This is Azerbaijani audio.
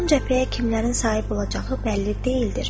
Son cəbhəyə kimlərin sahib olacağı bəlli deyildir.